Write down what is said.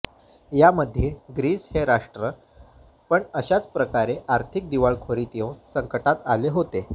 यामध्ये ग्रीस हे राष्ट्र पण अशाच प्रकारे आर्थिक दिवाळखोरीत येऊन संकटात आले होते